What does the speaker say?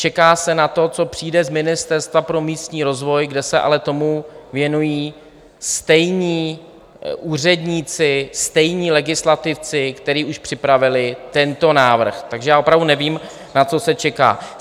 Čeká se na to, co přijde z Ministerstva pro místní rozvoj, kde se ale tomu věnují stejní úředníci, stejní legislativci, kteří už připravili tento návrh, takže já opravdu nevím, na co se čeká.